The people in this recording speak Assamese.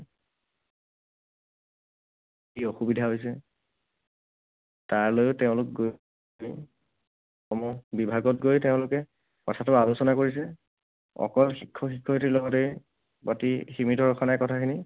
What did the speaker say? কি অসুবিধা হৈছে, তাৰ লৈয়ো তেওঁলোক গৈ সমূহ বিভাগত গৈ তেওঁলোকে কথাটো আলোচনা কৰিছে। অকল শিক্ষক শিক্ষয়িত্ৰীৰ লগতে বাকী সীমিত ৰখা নাই কথাখিনি।